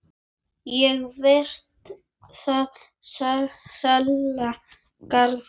Ég veit það varla, Garðar.